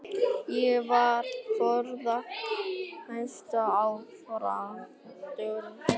Ég var með fjóra háseta á Fram, allt dugnaðarmenn.